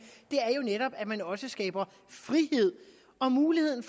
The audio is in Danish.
er jo netop at man også skaber frihed og mulighed